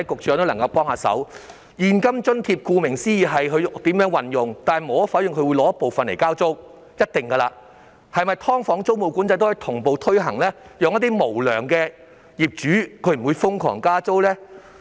說到現金津貼，顧名思義，受惠者可決定如何運用，但無可否認，他們一定會拿出部分來交租，那麼"劏房"租務管制是否也可以同步推行，令一些無良業主不會瘋狂加租呢？